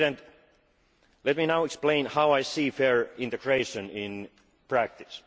Mr. President, let me now explain how I see fair integration in practice.